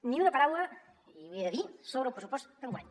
ni una paraula i l’hi he de dir sobre el pressupost d’enguany